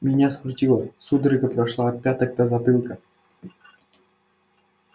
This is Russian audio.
меня скрутило судорога прошла от пяток до затылка